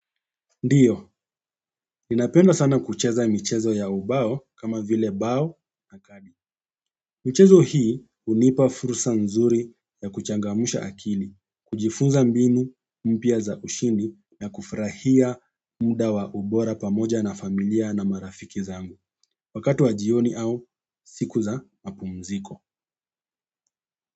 Ndiyo, ninapenda sana kucheza michezo ya ubao kama vile bao na kabi michezo hii hunipa fursa nzuri ya kuchangamsha akili, kujifunza mbinu mpya za ushindi na kufurahia muda wa ubora pamoja na familia na marafiki zangu. Wakati wa jioni au siku za mapumziko.